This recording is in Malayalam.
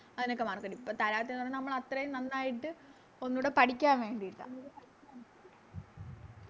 അതിനൊക്കെ Mark തെരും ഇപ്പൊ തരാത്തതെന്ന് പറഞ്ഞ നമ്മളാത്രേം നന്നായിട്ട് ഒന്നുടെ പഠിക്കാൻ വേണ്ടീട്ട